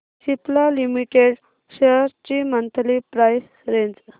Cipla limited shares ची monthly price range